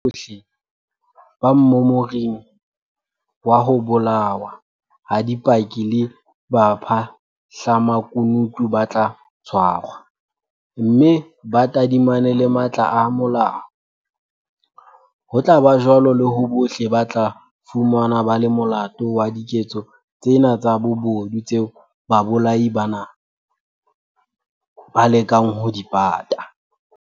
Batho bohle ba mmomoring wa ho bolawa ha dipaki le bapha hlamakunutu ba tla tshwarwa, mme ba tadimane le matla a molao, ho tla ba jwalo le ho bohle ba tla fumanwa ba le molato wa diketso tsena tsa bobodu tseo babolai bana ba lekang ho di pata.